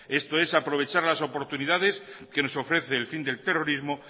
esto es aprovechar las oportunidades que nos ofrece el fin del terrorismo